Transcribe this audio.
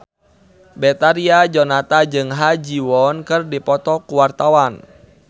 Betharia Sonata jeung Ha Ji Won keur dipoto ku wartawan